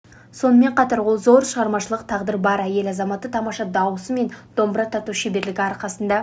сонымен қатар ол зор шығармашылық тағдыры бар әйел азаматы тамаша дауысы мен домбыра тарту шеберлігі арқасында